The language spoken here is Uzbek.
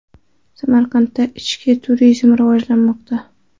Samarqandda ichki turizm rivojlanmoqda.